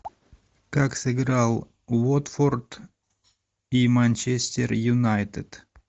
как сыграл уотфорд и манчестер юнайтед